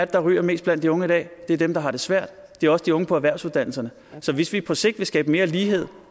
der ryger mest blandt de unge i dag det er dem der har det svært det er også de unge på erhvervsuddannelserne så hvis vi på sigt vil skabe mere lighed